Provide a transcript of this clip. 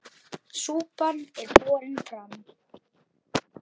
Súpan er borin fram.